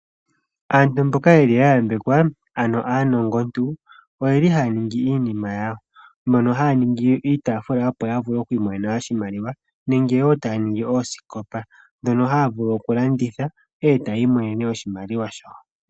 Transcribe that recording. Aantu mboka ya yambekelwa ano aanongo ntu oyeli haya ningi iinima yawo. Ohaya ningi iitaafula opo ya vule oku imona iimaliwa. Ohaya ningi woo oosikopa ndhono haya vulu oku landitha etaayi monene oshimaliwa shawo.